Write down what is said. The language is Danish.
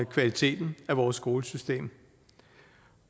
kvaliteten af vores skolesystem